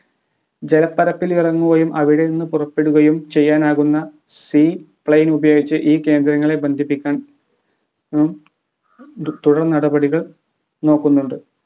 ജലപ്പരപ്പിൽ ഇറങ്ങുകയും അവിടെ നിന്ന് പുറപ്പെടുകയും ചെയ്യാനാകുന്ന sea plane ഉപയോഗിച്ച് ഈ കേന്ദ്രങ്ങളെ ബന്ധിപ്പിക്കാൻ ഉം തുടർനടപടികൾ നോക്കുന്നുണ്ട്